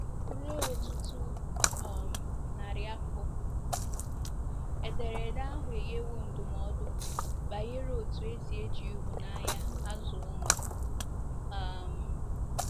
Ruo ọtụtụ um narị afọ, Ederede ahụ enyewo ndụmọdụ banyere otú e si eji ịhụnanya azụ ụmụ. um